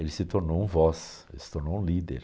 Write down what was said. Ele se tornou um voz, se tornou um líder.